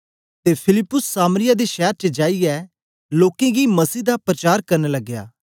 ते फिलिप्पुस सामरिया दे शैर च जाईयै लोकें गी मसीह दा परचार करन लगया